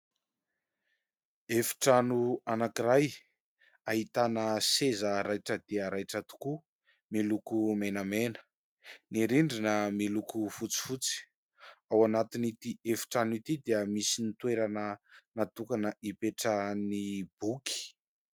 efitrano anankiray ;ahitana seza raitra dia raitra tokoa miloko menamena ; ny rindrina miloko fotsifotsy .Ao anatin'ity efitrano ity dia misy ny toerana natokana ipetrahan'ny boky